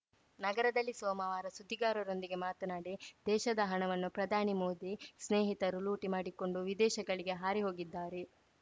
ನಗರದಲ್ಲಿ ಸೋಮವಾರ ಸುದ್ದಿಗಾರರೊಂದಿಗೆ ಮಾತನಾಡಿ ದೇಶದ ಹಣವನ್ನು ಪ್ರಧಾನಿ ಮೋದಿ ಸ್ನೇಹಿತರು ಲೂಟಿ ಮಾಡಿಕೊಂಡು ವಿದೇಶಗಳಿಗೆ ಹಾರಿ ಹೋಗಿದ್ದಾರೆ